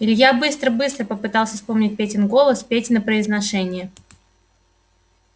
илья быстро-быстро попытался вспомнить петин голос петино произношение